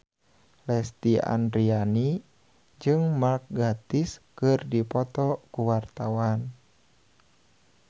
Lesti Andryani jeung Mark Gatiss keur dipoto ku wartawan